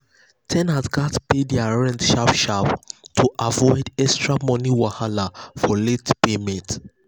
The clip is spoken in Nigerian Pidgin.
ten ants gatz pay their rent sharp sharp to avoid extra money wahala for late payment.